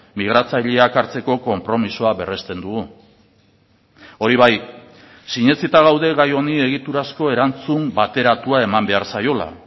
migratzaileak hartzeko konpromisoa berresten dugu hori bai sinetsita gaude gai honi egiturazko erantzun bateratua eman behar zaiola